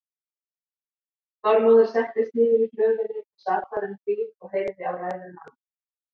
Þormóður settist niður í hlöðunni og sat þar um hríð og heyrði á ræður manna.